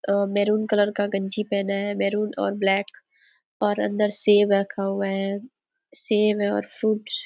अम maroon colour का गंजी पहना है मेरुन और ब्लेक और अंदर सेब रखा हुआ है सेब है और फ्रूट्स --